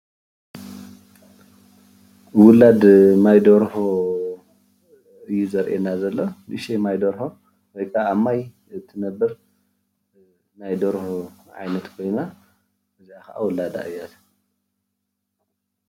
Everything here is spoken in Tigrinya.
ዉላድ ማይ ደርሆ እዩ ዝርአየና ዘሎ። እዛ ዉላድ ናይ ኣብ ማይ እትነብር ደርሆ ዉላድ እዩ።